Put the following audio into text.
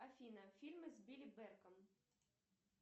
афина фильмы с билли берком